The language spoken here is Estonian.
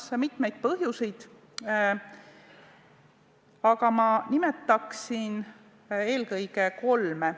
Siin on mitmeid põhjuseid, aga ma nimetan eelkõige kolme.